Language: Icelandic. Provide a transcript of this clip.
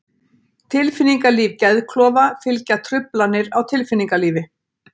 Tilfinningalíf Geðklofa fylgja truflanir á tilfinningalífi.